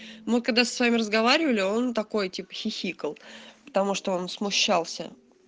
мы когда с вами разговаривали он такой типа хихикал потому что он смущался